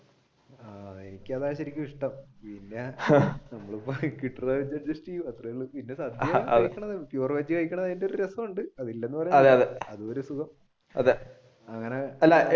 എനിക്കതായിരുന്നു ശരിക്കുമിഷ്ടം പിന്നെ കിട്ടണ വെച്ച് adjust ചെയ്യും